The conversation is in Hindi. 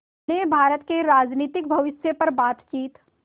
ने भारत के राजनीतिक भविष्य पर बातचीत